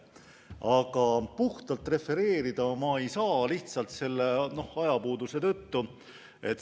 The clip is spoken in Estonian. Aga puhtalt refereerida ei saa ma lihtsalt ajapuuduse tõttu.